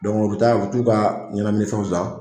u bɛ taa u bu t'u ka ɲɛnaminifɛnw san.